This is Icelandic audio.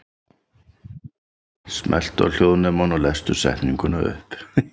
Helga, kona Odds biskups Einarssonar.